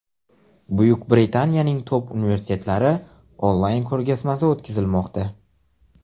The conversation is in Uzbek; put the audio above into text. Buyuk Britaniyaning Top universitetlari onlayn ko‘rgazmasi o‘tkazilmoqda.